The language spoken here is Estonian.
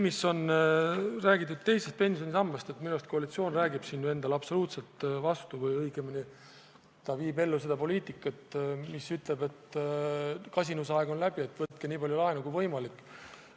Mis puutub teise pensionisambasse, siis minu arust koalitsioon räägib siin endale absoluutselt vastu või õigemini ta viib ellu seda poliitikat, mis kuulutab, et kasinusaeg on läbi, võtke nii palju laenu kui võimalik.